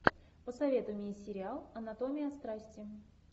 посоветуй мне сериал анатомия страсти